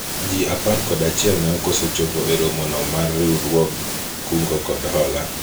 jii apar kod achiel ne okoso chopo e romo no mar riwruog kungo kod hola